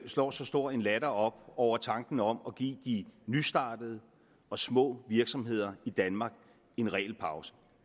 slår så stor en latter op over tanken om at give de nystartede og små virksomheder i danmark en regelpause